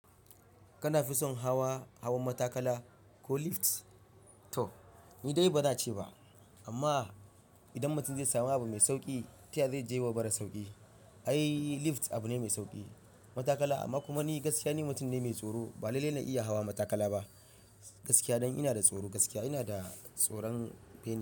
Kana fi son hawa hawan matakala ko lift? To ni dai ba na ce ba amma idan mutum zai samu abu mai sauki, taya zai je wa mara sauki. Ai lift abu ne mai sauki matakala amma kuma ni gaskiya ni mutum ne mai tsoro. Ba lalle na iya hawa matakala ba gaskiya dan ina da tsoro gaskiya. Ina da tsoron bene.